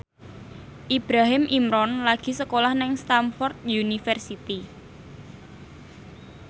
Ibrahim Imran lagi sekolah nang Stamford University